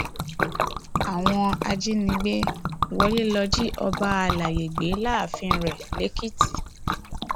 àwọn ajínigbé wọlé lọọ jí ọba àlàyé gbé láàfin rẹ lèkìtì